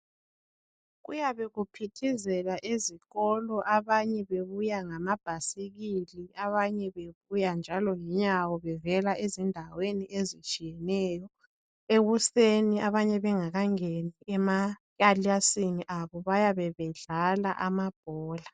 Kuyabe kuphithizela ezikolo, abanye bebuya ngamabhasikili, abanye bebuya njalo ngenyawo bevela endaweni ezitshiyeneyo. Ekusen abanye bengakangeni emakilasini abo bayabe bedlala amabhola.